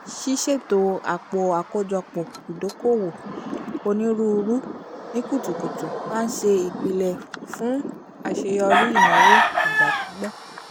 ṣiṣeto àpò àkójọpọ̀ ìdòko-òwò onírúurú ni kùtùkùtù má n ṣe ìpele fún àṣeyọrí ìnáwó ìgbà-pípẹ́